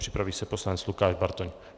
Připraví se poslanec Lukáš Bartoň.